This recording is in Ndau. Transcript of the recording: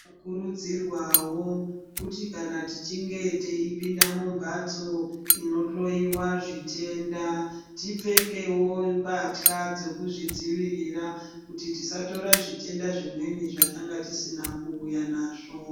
Tinokurudzirwa wo, kuti kana tichinge teyipinda mumbatso inohloiwa zvitenda tipfekewo mpatya dzokuzvidzivirira kuti tisatora zvitenda zvimweni zvatange tisina ku uya nazvo.